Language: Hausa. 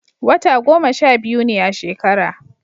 wata goma sha biyu ne a shekara